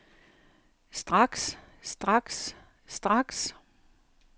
straks straks straks